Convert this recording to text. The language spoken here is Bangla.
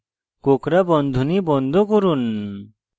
কোঁকড়া বন্ধনী বন্ধ করুন